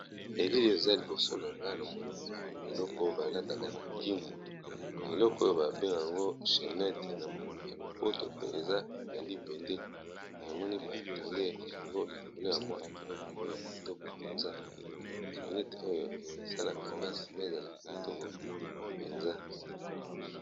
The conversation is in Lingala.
elile eza liboso na nga na monimba eloko oyo balataka na kimbo eleko oyo babeng yango chenete na monoko ya lopoto pe eza nalipende na moni batande yango likolo ya mwa eloko oyo ya kitoko mpenza chenet oyo esalaka basi bazala kitoko mpenza